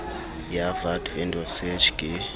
ya vat vendor search ke